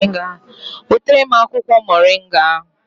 Wetara m akwụkwọ Moringa ahụ!